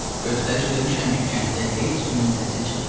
Göstəriş vermişəm ki, kənddə heç kimin səsi çıxmasın.